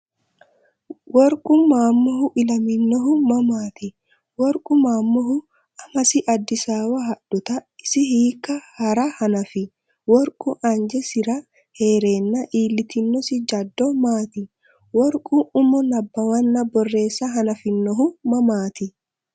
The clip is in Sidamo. Worqu Maammohu ilaminohu mamaati? Worqu Maammohu amasi Addisaawa hadhuta isi hiikko hee’ra hanafi? Worqu anjesinni hee’reenna iillitinosi jaddo maati? Worqu umo nabbawanna borreessa hanafinohu mamaati?